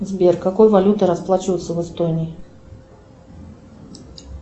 сбер какой валютой расплачиваются в эстонии